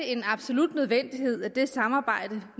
en absolut nødvendighed at det samarbejde